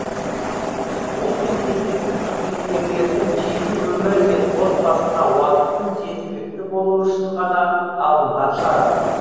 бұл мемлекеттік қызметкерлердің жеке өмірі мен отбасына уақыттың жеткілікті болуы үшін ғана алынған шара